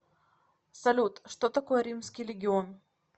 салют что такое римский легион